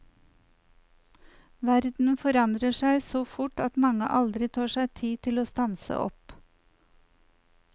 Verden forandrer seg så fort at mange aldri tar seg tid til å stanse opp.